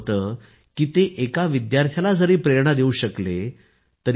हा विचार करू नका की 12वी बोर्ड परीक्षेचे गुण हे ठरवतील की तुम्ही आयष्यात काय मिळवू शकता